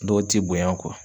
Dɔw t'i bonya .